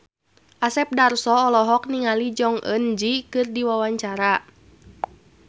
Asep Darso olohok ningali Jong Eun Ji keur diwawancara